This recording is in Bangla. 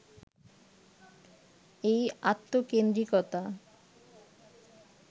এই আত্মকেন্দ্রিকতা